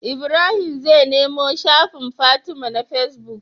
Ibrahim zai nemo shafin fatima na face book